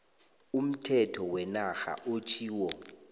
umthetho wenarha otjhiwo